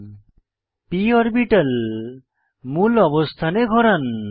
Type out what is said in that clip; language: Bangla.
p অরবিটাল মূল অবস্থানে ঘোরান